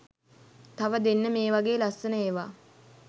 තව දෙන්න මේ වගෙ ලස්සන ඒවා